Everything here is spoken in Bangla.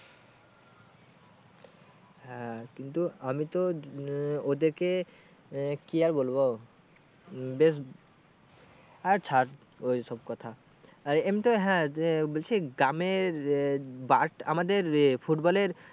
হ্যাঁ কিন্তু আমি তো আহ ওদেরকে আহ কি আর বলবো উম বেশ আর ছাড় ওই সব কথা এমনিতে হ্যাঁ যে বলছি গ্রামের আহ bar আমাদের এ football এর